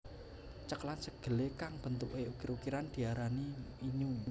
Cekelan segele kang bentuke ukir ukiran diarani innyu